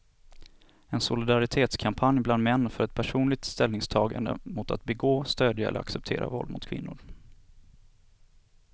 En solidaritetskampanj bland män för ett personligt ställningstagande mot att begå, stödja eller acceptera våld mot kvinnor.